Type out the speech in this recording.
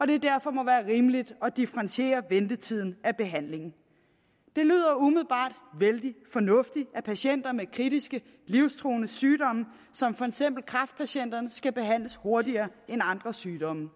det derfor må være rimeligt at differentiere ventetiden af behandlingen det lyder umiddelbart vældig fornuftigt at patienter med kritiske livstruende sygdomme som for eksempel kræftpatienter skal behandles hurtigere end andre sygdomme